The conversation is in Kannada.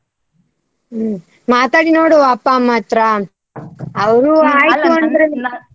ಹ್ಮ್ ಮಾತಾಡಿ ನೋಡ್ವ ಅಪ್ಪ ಅಮ್ಮ ಹತ್ರ. ಅವ್ರು ಆಯ್ತು ಅಂದ್ರೆ.